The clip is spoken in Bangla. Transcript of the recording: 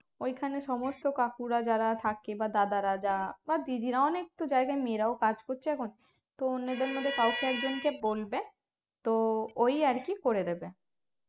ওইখানে সমস্ত কাকুরা যারা থাকে বা দাদা রা যা বা দিদিরা অনেকতো জায়গায় মেয়েরাও কাজ করছে এখন তো ওদের মপধ্যে কাউকে একজনকে বলবে তো ওই আরকি করে দেবে